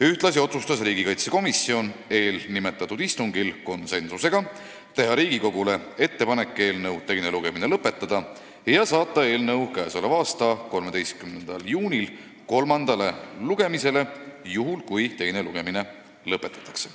Ühtlasi otsustas riigikaitsekomisjon eelnimetatud istungil konsensusega teha Riigikogule ettepaneku eelnõu teine lugemine lõpetada ja saata eelnõu k.a 13. juuniks kolmandale lugemisele, juhul kui teine lugemine lõpetatakse.